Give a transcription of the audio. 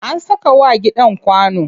An saka wa gidan kwano.